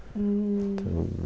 Então...